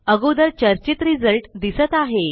अगोदर चर्चित रिज़ल्ट दिसत आहे